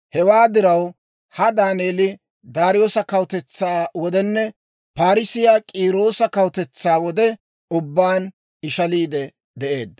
Hewaa diraw, ha Daaneeli Daariyoosa kawutetsaa wodenne Parssiyaa K'iiroosa kawutetsaa wode ubbaan ishaliide de'eedda.